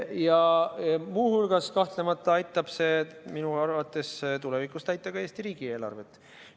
Ja muu hulgas, kahtlemata, aitab see minu arvates tulevikus täita ka Eesti riigieelarvet.